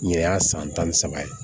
Nin ye a san tan ni saba ye